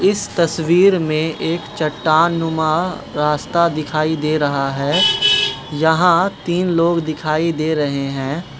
इस तस्वीर में एक चट्टाननुमा रास्ता दिखाई दे रहा है यहां तीन लोग दिखाई दे रहे हैं।